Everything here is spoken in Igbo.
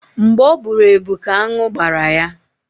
Mgbe ọ bụrụ ebu ka anụ gbara ya